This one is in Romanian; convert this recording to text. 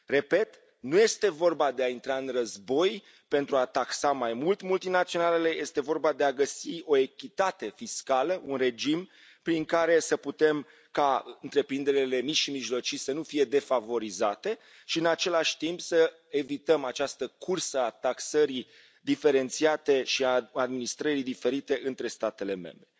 Repet, nu este vorba de a intra în război pentru a taxa mai mult multinaționalele, este vorba de a găsi o echitate fiscală, un regim prin care să putem ca întreprinderile mici și mijlocii să nu fie defavorizate și, în același timp, să evităm această cursă a taxării diferențiate și a administrării diferite între statele membre.